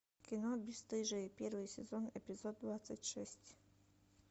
кино бесстыжие первый сезон эпизод двадцать шесть